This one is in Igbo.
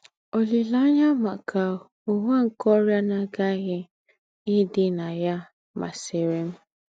“ Ólíléányà mákà úwà nke ọ́rịà ná-àghàghí ídì na ya másìrì m. ”